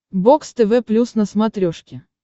бокс тв плюс на смотрешке